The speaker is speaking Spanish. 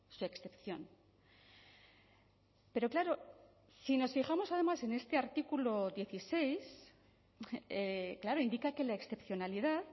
su excepción pero claro si nos fijamos además en este artículo dieciséis claro indica que la excepcionalidad